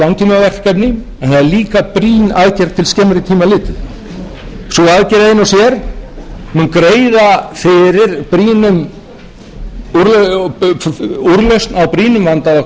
er mikilvægt langtímaverkefni en það er líka brýn aðgerð til skemmri tíma litið sú aðgerð ein og sér mun greiða fyrir úrlausn á brýnum vanda okkar